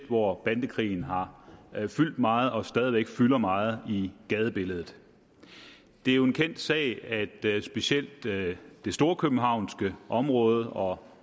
hvor bandekrigen har fyldt meget og stadig væk fylder meget i gadebilledet det er jo en kendt sag at specielt det storkøbenhavnske område og